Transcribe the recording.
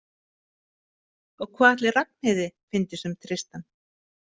Og hvað ætli Ragnheiði fyndist um Tristan?